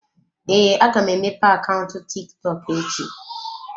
Ee, aga m emepe akaụntụ TikTok echi.